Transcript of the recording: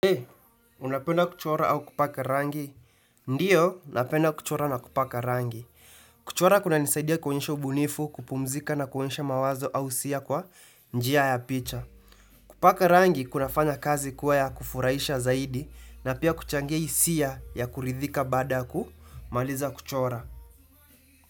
Hei, unapenda kuchora au kupaka rangi? Ndiyo, unapenda kuchora na kupaka rangi. Kuchora kuna nisaidia kuonesha ubunifu kupumzika na kunesha mawazo au hisia kwa njia ya picha. Kupaka rangi kuna fana kazi kuwa ya kufuraisha zaidi na pia kuchangi hisia ya kuridhika baada ya kumaliza kuchora.